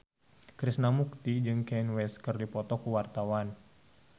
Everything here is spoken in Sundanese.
Krishna Mukti jeung Kanye West keur dipoto ku wartawan